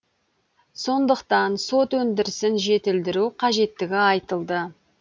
сондықтан сот өндірісін жетілдіру қажеттігі айтылды